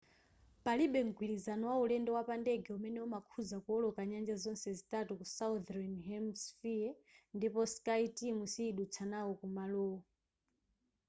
palibe mgwirizano wa ulendo wapa ndege umene umakhudza kuwoloka nyanja zonse zitatu ku southern hemishephere ndipo skyteam siyidutsa nawo kumalowo